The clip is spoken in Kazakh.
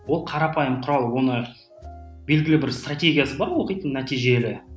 ол қарапайым құрал оны белгілі бір стратегиясы бар оқитын нәтижелі